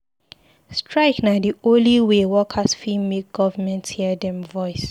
Strike na di only way workers fit make government hear dem voice.